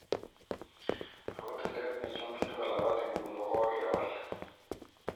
Ako tilet nechomchin kolapat nguno kokokewal.